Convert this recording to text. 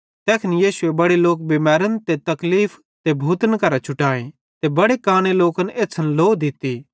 तैखन यीशुए बड़े लोक बिमैरन ते तकलीफ ते भूतन करां छुटाए ते बड़े काने लोकन एछ़्छ़न लौ दित्ती